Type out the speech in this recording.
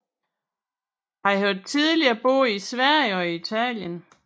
Han har tidligere boet i Sverige og i Italien